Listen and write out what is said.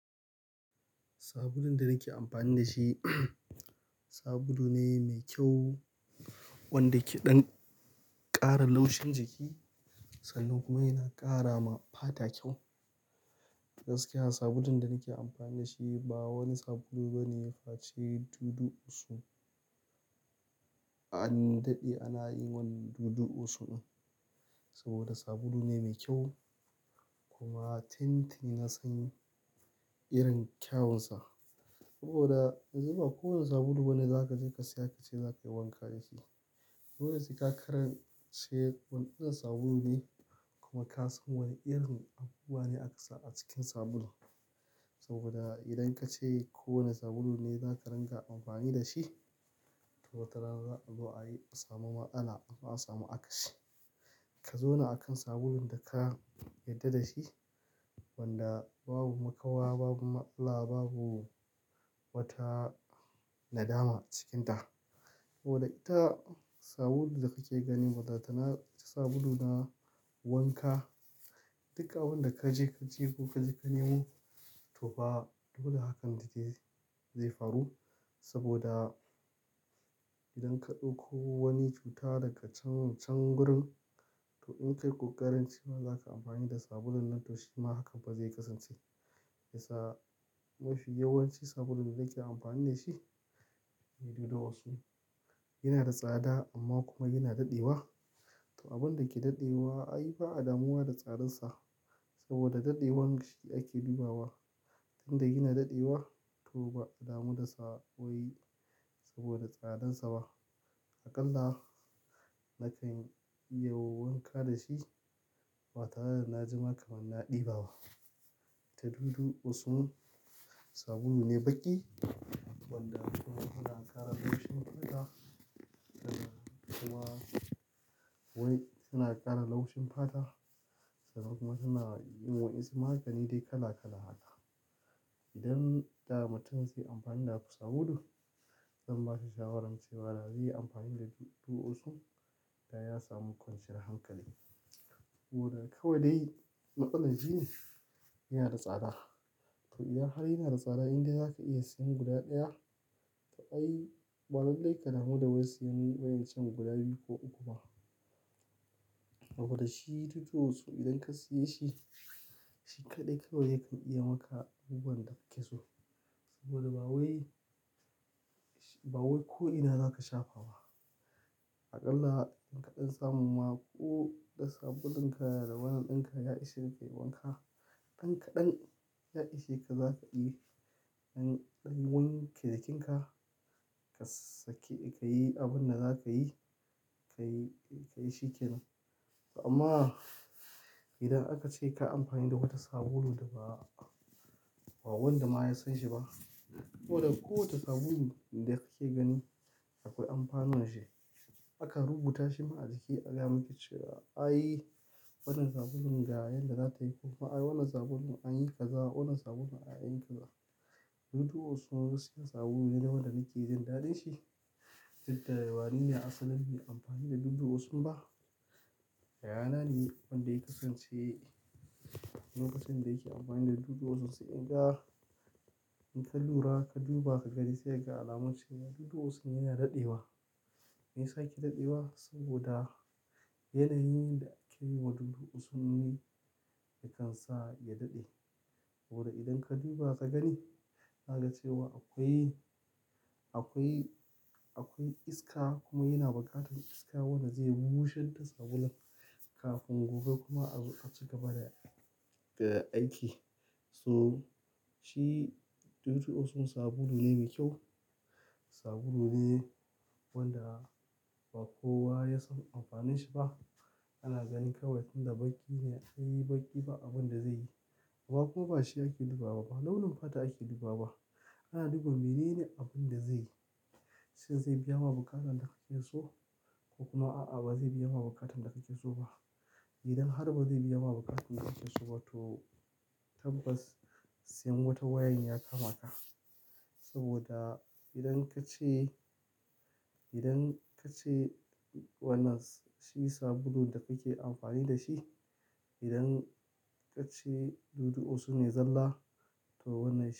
Sabulun da nake amfani dashi, sabulu ne mai kyau wanda keɗan ƙara laushin jiki sannan kuma yana ƙara ma fata kyau. Gaskiya sabulun da nake amfani da shi ba wani sabulu bane face Dudu Osun. An daɗe ana yin wannan Dudu Osun saboda sabulu ne mai kyau, kuma tin tini nasan irin kyawunsa. Saboda niba kowane sabulu bane za kaje ka saya kace za ka yi wanka dashi. Dole sai kasan wani irin sabulu ne kuma kasan wane irin abubuwa ne akasa a cikin sabulun. Saboda idan kace kowane sabulu ne zaka ringa amfani dashi, to watarana za'a zo a yi, a samu matsala, ko a samu akasi. Ka zauna akan sabulun daka yarda da shi wanda babu makawa, babu matsala, babu wata nadama a cikinta. Saboda ita sabulu da kake gani balantana, ita sabulu na wanka, duk abin da kaje ka ji ko ka ji ka nemo, topa dole hakan dai dai zai faru. Saboda idan ka ɗauko wani cuta daga can can gurin, to inkayi ƙoƙarin cewa za ka amfani da sabulun nan to shima hakan pa zai kasance. Shiyasa? Mafi yawancin sabulun da nake amfani dashi Dudu Osun. Yana da tsada amma kuma yana daɗewa. To abinda ke daɗewa ai ba'a damuwa da tsadansa, saboda daɗewar shi ake dubawa. Tinda yana daɗewa, to ba'a damu da sawo wai saboda tsadan saba. Akalla, nakanyi wanka dashi, ba tareda najima kamar na ɗi baba. To Dudu Osun, sabulune baƙi, wanda kuma yana ƙara laushin fata, sannan kuma wai yana ƙara laushin fata sannan kuma yana yin wa'insu magani dai kala kala haka. Idan da mutum ze amfani da ku sabulu, zan bashi shawarar cewa da zeyi amfani da Dudu Osun, daya samu kwanciyar hankali. Saboda kawai dai matsalan shine yanada tsada. To iya har yanada tsada inde zaka iya siyan guda ɗaya, to ai ba lallai ka damu da wai siyan wayan can guda biyu ko uku ba. Saboda shi Dudu Osun idan ka siye shi, shi kaɗai kawai yakan iya maka abubuwan da kake so. Saboda bawai, bawai ko ina zaka shafa ba. Akalla ka ɗan samu ma ko da sabulun ka da wannan ɗinka ya ishe ka yi wanka, ɗan kaɗan ya ishe ka zaka iya yi. Dan kayi wanke jikinka, ka sake ka yi abinda zakayi, kayi, kayi shikenan. To amma idan akace kayi amfani da wata sabulu daba, ba wanda ma ya sanshi ba, saboda kowace sabulu da kake gani akwai amfanuwanshi. Akan rubuta shima a jiki, a gayamuku cewa ai wannan sabulun ga yanda zata yi koma ai wannan sabulun an yi kaza, wannan sabulun anyi kaza. Dudu Osun gaskiya sabulu ne da wadanda nake jin daɗin shi. Tin da wanene asalan bai yi amfani da Dudu Osun ba, yaya nane wanda ya kasance, wanda ya kasance yake amfani da Dudu Osun sai naga in ka lura, ka duba, ka gani sai kaga alamun cewa Dudu Osun yana daɗewa. Me yasa yake daɗewa? Saboda yanayin da ake yiwa Dudu Osun ne ya kansa ya daɗe. Saboda idan ka duba ka gani, ka ga cewa akwai, akwai, akwai iska kuma yana bukatar iska wanda zai busher da sabulun, kafin gobe kuma azo a ci gaba da, da aiki. So shi Dudu Osun sabulu ne mai kyau, sabulu ne wanda ba kowa ya san amfanin shiba. Ana gani kawai tinda baƙi ne, ai baƙi ba abinda zaiyi. Ba kuma bashi ake dubawa bafa, launin fata ake dubawa. Ana duba menene abin da zai, shin zai biyama buƙatar da kake so? Ko kuma a'a ba zai biya ma buƙatar da kake so ba? Idan har bazai biyama buƙatar da kake soba, to tabbas siyan wata wayan ya kama ka. Saboda idan kace, idan kace wannan shi sabulu da kake amfani dashi, idan kace Dudu Osun ne zalla, to wannan shi.